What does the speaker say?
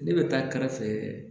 Ne bɛ taa kɛrɛfɛ